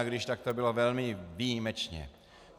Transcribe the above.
A když, tak to bylo velmi výjimečně.